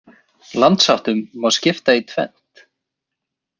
Landsháttum má skipta í tvennt.